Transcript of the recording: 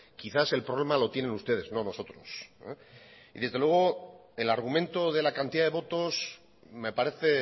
quizás el problema lo tienen ustedes no nosotros y desde luego el argumento de la cantidad de votos me parece